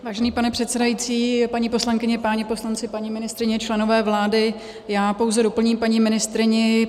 Vážený pane předsedající, paní poslankyně, páni poslanci, paní ministryně, členové vlády, já pouze doplním paní ministryni.